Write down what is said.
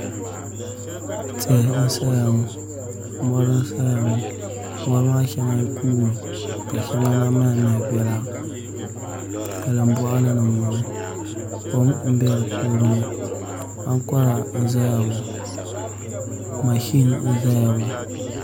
Tihi n saya ŋo mori n saya ŋo mori maa shɛŋa kuumi ka shɛŋa na maha maha biɛla salin boɣali ni n boŋo kom n bɛ di puuni ŋo ankora n ʒɛya ŋo mashin n ʒɛya ŋo